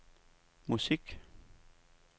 musik